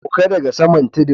Sauka daga saman tudun.